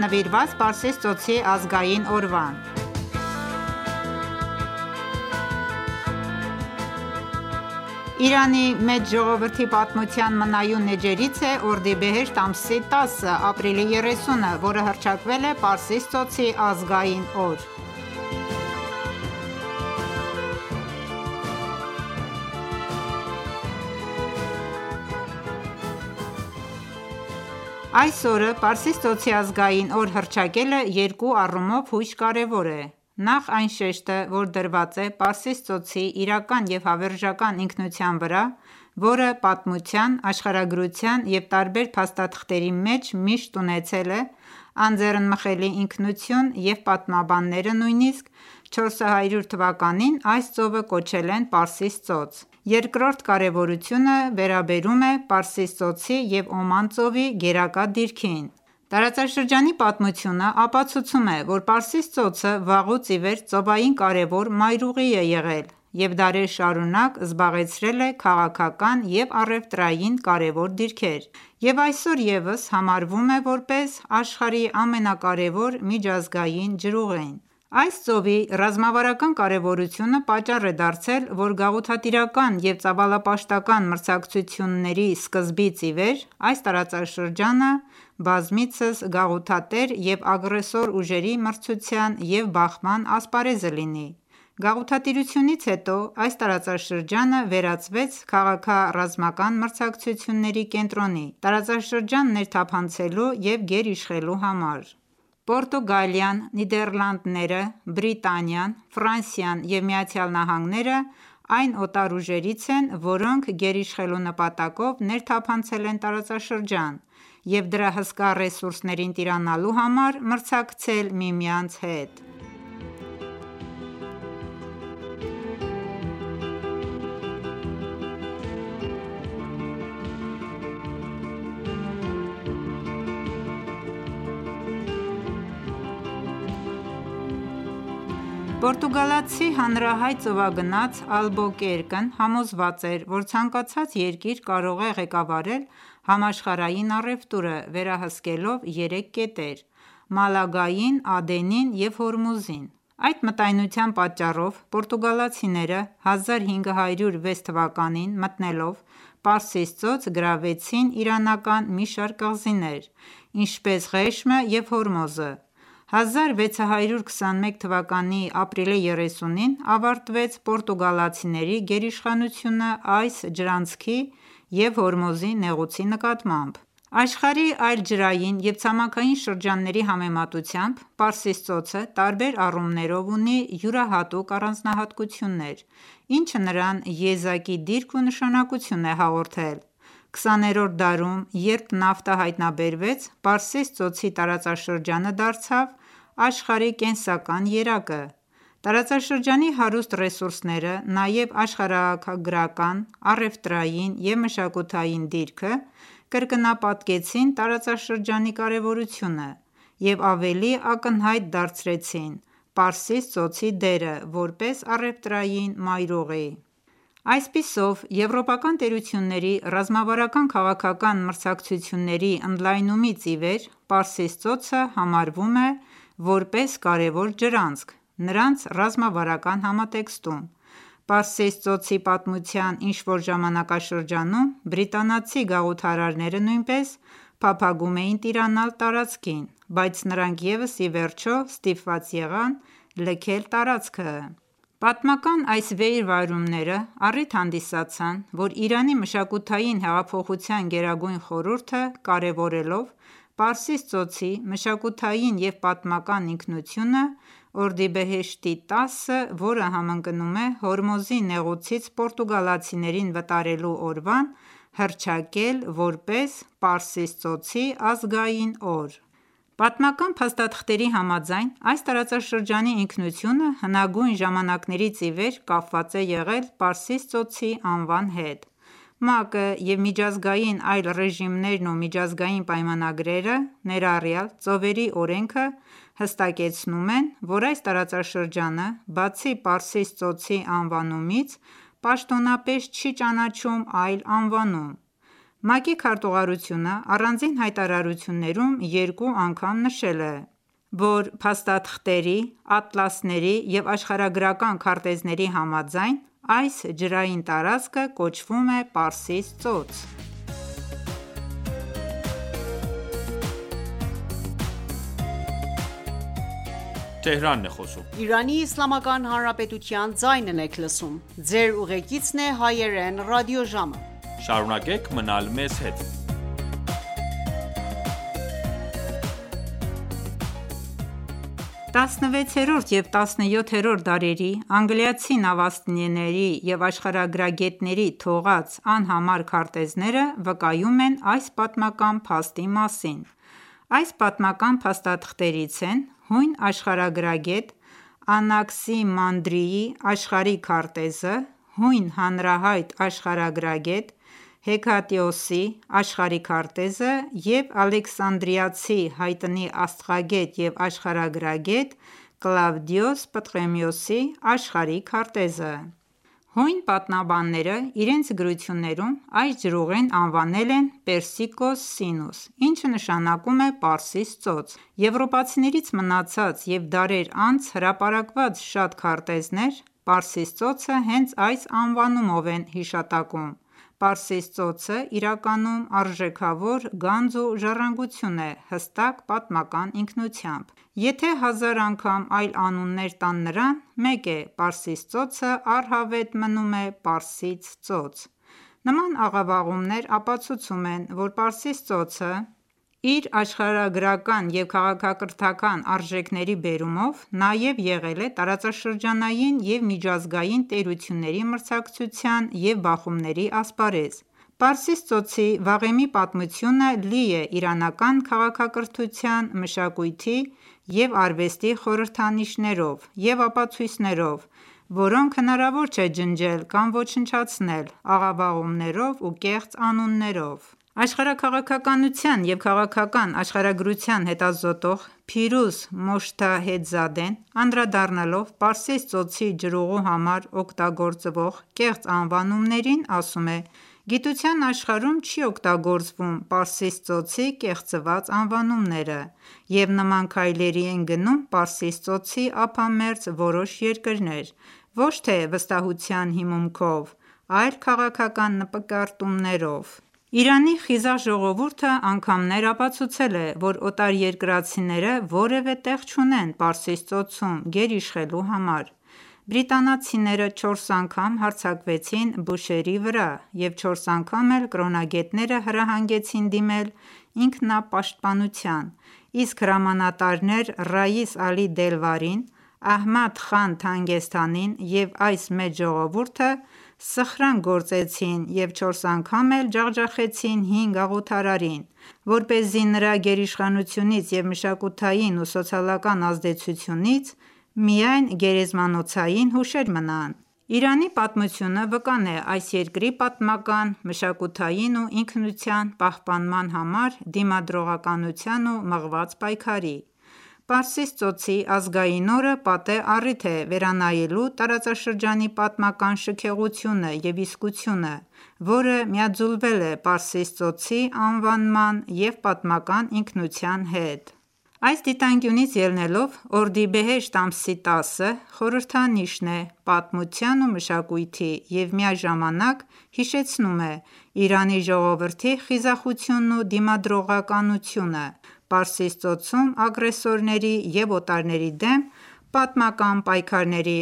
(Նվիրված Պարսից ծոցի ազգային օրվան) Իրանի մեծ ժողովրդի պատմության մնայուն էջերից է օրդիբեհեշտ ամսի 10-ը,(Ապրիլի 30-ը) որը հռչակվել է՝ Պարսից ծոցի ազգային օր: Այս օրը Պարսից ծոցի ազգային օր հռչակելը երկու առումով հույժ կարևոր է. Նախ այն շեշտը, որ դրված է Պարսից ծոցի իրական և հավերժական ինքնության վրա, որը պատմության, աշխարհագրության և տարբեր փաստաթղթերի մեջ միշտ ունեցել է անձեռնմխելի ինքնություն,և պատմաբանները նույնիսկ Ք.ծ.ա. 400 թվականին, այս ծովը կոչել են Պարսից ծոց: Երկրորդ կարևորությունը վերաբերում է Պարսից ծոցի և Օման ծովի գերակա դիրքին: Տարածաշրջանի պատմությունը ապացուցում է, որ Պարսից ծոցը վաղուց իվեր ծովային կարևոր մայրուղի է եղել և դարեր շարունակ զբաղեցրել է քաղաքական և առևտրային կարևոր դիրքեր, և այսօր ևս համարվում է, որպես աշխարհի ամենակարևոր միջազգային ջրուղին:Այս ծովի ռազմավարական կարևորությունը պատճառ է դարձել, որ գաղութատիրական և ծավալապաշտական մրցակցությունների սկզբից իվեր, այս տարածաշրջանը բազմիցս գաղութատեր և ագրեսոր ուժերի մրցակցության և բախման ասպարեզը լինի: Գաղութատիրությունից հետո, այս տարածաշրջանը վերածվեց քաղաքա-ռազմական մրցակցությունների կենտրոնի ,տարածաշրջան ներթափանցելու և գերիշխելու համար: Պորտուգալիան, Նիդերլանդները, Բրիտանիան, Ֆրանսիան և ԱՄՆ-ն այն օտար ուժերից են, որոնք գերիշխելու նպատակով ներթափանցել են տարածաշրջան և դրա հսկա ռեսուրսներին տիրանալու համար մրցակցել միմյանց հետ: Պորտուգալացի հանրահայտ ծովագնաց Ալբոկերկն ՝ համոզված էր, որ ցանկացած երկիր կարող է ղեկավարել համաշխարհային առևտուրը ՝ վերահսկելով երեք կետեր ՝ Մալագային, Ադենին և Հորմուզին: Այդ մտայնության պատճառով, պորտուգալացիները 1506 թվականին մտնելով Պարսից ծոց գրավեցին իրանական մի շարք կղզիներ, ինչպես՝ Ղեշմը և Հորմոզը: 1621 թվականի ապրիլի 30-ին ավարտվեց պորտուգալացիների գերիշխանությունը այս ջրանցքի և Հորմոզի նեղուցի նկատմամբ: Աշխարհի այլ ջրային և ցամաքային շրջանների համեմատությամբ, Պարսից ծոցը տարբեր առումներով ունի յուրահատուկ առանձնահատկություններ, ինչը նրան եզակի դիրք ու նշանակություն է հաղորդել: Քսաներորդ դարում, երբ նավթը հայտնաբերվեց, Պարսից ծոցի տարածաշրջանը դարձավ աշխարհի կենսական երակը: Տարածաշրջանի հարուստ ռեսուրսները, նաև աշխարհագրական, առևտրային և մշակութային դիրքը, կրկնապատկեցին տարածաշրջանի կարևորությունը և ավելի ակնհայտ դարձրեցին Պարսից ծոցի դերը, որպես առևտրային մայրուղի:Այսպիսով, եվրոպական տերությունների ռազմավարական քաղաքական մրցակցությունների ընդլայնումից ի վեր Պարսից ծոցը համարվում է ,որպես կարևոր ջրանցք, նրանց ռազմավարական համատեքստում:Պարսից ծոցի պատմության ինչ-որ ժամանակաշրջանում, բրիտանացի գաղութարարերը նույնպես փափագում էին տիրանալ տարածքին, բայց նրանք ևս ի վերջո, ստիպված եղան լքել տարածքը: Պատմական այս վերի վայրումները առիթ հանդիսացան, որ Իրանի մշակութային հեղափոխության Գերագույն խորհուրդը կարևորելով Պարսից ծոցի մշակութային և պատմական ինքնությունը, օրդիբեհեշտի 10-ը, որը համընկնում է Հորմոզի նեղուցից պորտուգալացիներին վտարելու օրվան, հռչակել որպես «Պարսից ծոցի ազգային օր »: Պատմական փաստաթղթերի համաձայն, այս տարածաշրջանի ինքնությունը հնագույն ժամանակներից իվեր կապված է եղել Պարսից ծոցի անվան հետ:ՄԱԿ-ը և միջազգային այլ ռեժիմներն ու միջազգային պայմանագրերը, ներառյալ ծովերի օրենքը, հստակեցնում են, որ այս տարածաշրջանը, բացի Պարսից ծոցի անվանումից պաշտոնապես չի ճանաչում այլ անվանում: ՄԱԿ-ի քարտուղարությունը առանձին հայտարարություններում երկու անգամ նշել է, որ փաստաթղթերի, ատլասների և աշխարհագրական քարտեզների համաձայն, այս ջրային տարածքը կոչվում է Պարսից ծոց: 16-րդ և 17-րդ դարերի անգլիացի նավաստիների և աշխարհագրագետների թողած անհամար քարտեզները վկայում են այս պատմական փաստի մասին:Այս պատմական փաստաթղթերից են՝ հույն աշխարհագրագետ Անաքսիմանդրի ՝Աշխարհի քարտեզը ,հույն հանրահայտ աշխարհագրագետ ՝ Հեքատեոսի ՝ Աշխարհի քարտեզը և Ալեքսանդրիացի հայտնի աստղագետ և աշխարհագրագետ Կլավդիոս Պտղոմեոսի՝Աշխարհի քարտեզը: Հույն պատմաբանները իրենց գրություններում այս ջրուղին անվանել են ՝ «Persicus Sinus», ինչը նշանակում է «Պարսից ծոց»:Եվորպացիներից մնացած և դարեր անց հրապարակված շատ քարտեզներ ,Պարսից ծոցը հենց այս անվանումով են հիշատակում: Պարսից ծոցը իրականում արժեքավոր գանձ ու ժառանգություն է `հստակ պատմական ինքնությամբ:Եթե հազար անգամ այլ անուններ տան նրան ,մեկ է՝ Պարսից ծոցը առհավետ մնում է Պարսից ծոց:Նման աղավաղումներ ապացուցում են որ Պարսից ծոցը, իր աշխարհագրական և քաղաքակրթական արժեքների բերումով, նաև եղել է տարածաշրջանային և միջազգային տերությունների մրցակցության և բախումների ասպարեզ:Պարսից ծոցի վաղեմի պատմությունը, լի է իրանական քաղաքակրթության, մշակույթի և արվեստի խորհրդանիշներով և ապացույցներով, որոնք հնարավոր չէ ջնջել կամ ոչնչացնել աղավաղումներով ու կեղծ անուններով: Աշխարհաքաղաքականության և քաղաքական աշխարհագրության հետազոտող ՝Փիրուզ Մոջթահեդզադեն անդրադառնալով Պարսից ծոցի ջրուղու համար օգտագործվող կեղծ անվանումներին ասում է.«Գիտության աշխարհում չի օգտագործվում Պարսից ծոցի կեղծված անվանումները և նման քայլերի են գնում Պարսից ծոցի ափամերձ որոշ երկրներ ,ոչ թե՝վստահության հիմունքով ,այլ քաղաքական նկրտումներով»: Իրանի խիզախ ժողովուրդը անգամներ ապացուցել է ,որ օտարերկրացիները որևէ տեղ չունեն Պարսից ծոցում գերիշխելու համար:Բրիտանացիները չորս անգամ հարձակվեցին Բուշեհրի վրա, և չորս անգամ էլ կրոնագետները հրահանգեցին դիմել ինքնապաշտպանության, իսկ հրամանատարներ՝ Ռաիս Ալի Դելվարին, Ահմադ խան Թանգեստանին և այս մեծ ժողովուրդը սխրագնք գործեցին և չորս անգամն էլ ջախջախեցին հին գաղութարարին ,որպեսզի նրա գերիշխանությունից և մշակութային ու սոցիալական ազդեցությունից միայն գերեզմանոցային հուշեր մնան:Իրանի պատմությունը վկան է ՝ այս երկրի պատմական, մշակութային ու ինքնության պահպանման համար դիմադրողականության ու մղված պայքարի: Պարսից ծոցի ազգային օրը պատեհ առիթ է վերանայելու տարածաշրջանի պատմական շքեղությունն ու իսկությունը ,որը միաձուլվել է Պարսից ծոցի անվանման ու պատմական ինքնության հետ: Այս դիտանկյունից ելնելով օրդիբեհեշտ ամսի 10-ը խորհրդանիշն է պատմության ու մշակույթի և միաժամանակ հիշեցնում է Իրանի ժողովրդի խիզախությունն ու դիմադրողականությունը Պարսից ծոցում ագրեսորների ու օտարների դեմ պատմական պայքարների